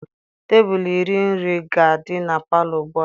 Tebụl iri nri ga-adị na palọ ugbu a.